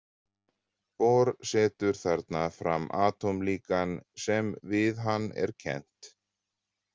Bohr setur þarna fram atómlíkan sem við hann er kennt.